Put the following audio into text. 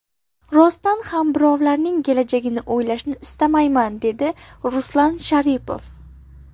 Rostdan ham birovlarning kelajagini o‘ylashni istamayman”, dedi Ruslan Sharipov.